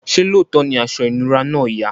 ṣe looto ní aṣọ inura náa yà?